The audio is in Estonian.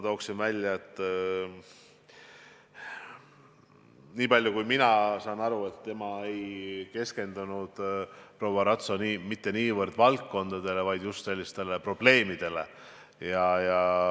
Tooksin välja, et nii palju kui mina aru saan, siis proua Ratso ei keskendunud niivõrd valdkondadele, kuivõrd just probleemidele.